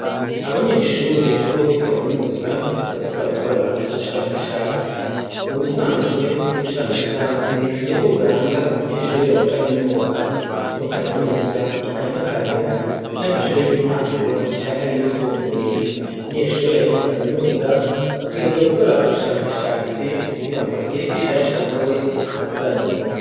Abanyeshure bo muri kaminuza bari kobarakora ubushakashatsi. Mu bisanzwe ubushakashatsi ni bwo biranga umunyeshure wa kaminuza niho kaminuza itandukanira n'amashuri y'intango canke ayisumbuye. Umunyeshure ahejeje kaminuza abwiriza gukora ubushakashatsi kugira ngo agire igishasha na we azanye.